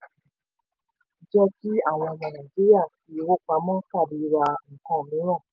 jẹ́ kí àwọn ọmọ nàìjíríà fi owó pamọ́ tàbí ra nǹkan mìíràn.